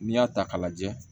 N'i y'a ta k'a lajɛ